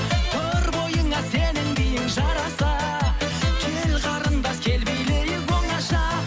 тұр бойыңа сенің биің жараса кел қарындас кел билейік оңаша